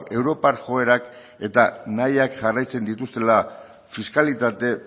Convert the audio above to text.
europar joerak eta nahiak jarraitzen dituztela fiskalitate